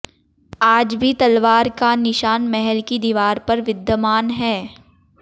आज भी तलवार का निशान महल की दीवार पर विद्यमान है